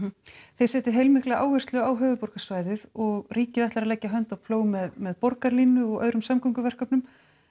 þið setjið heilmikla áherslu á höfuðborgarsvæðið og ríkið ætlar að leggja hönd á plóg með borgarlínu og öðrum samgönguverkefnum